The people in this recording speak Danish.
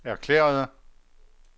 erklærede